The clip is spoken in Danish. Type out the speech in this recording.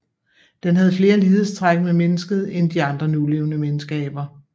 Den havde flere lighedstræk med mennesket end de andre nulevende menneskeaber